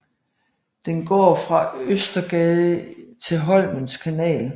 Den går fra Østergade til Holmens Kanal